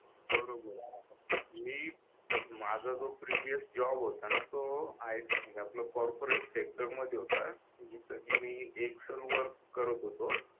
बरोबर आहे मी माझा जो प्रीवियस जॉब होता ना तो कॉर्पोरेट सेक्टरमध्ये होता जितकी मी एक्सेल वर्क करत होतो